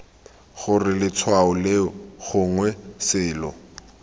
gore letshwao leo gongwe selo